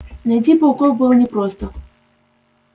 найти пауков было непросто